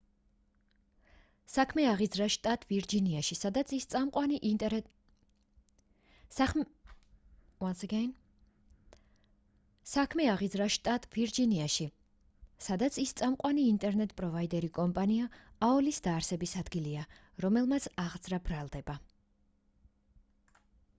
საქმე აღიძრა შტატ ვირჯინიაში სადაც იმ წამყვანი ინტერნეტ პროვაიდერი კომპანია aol-ის დაარსების ადგილია რომელმაც აღძრა ბრალდება